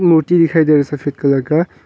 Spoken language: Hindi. दिखाई दे रहा है सफेद कलर का।